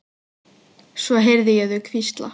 Svo heyrði ég þau hvísla.